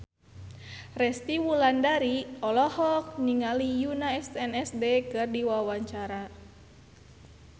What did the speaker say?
Resty Wulandari olohok ningali Yoona SNSD keur diwawancara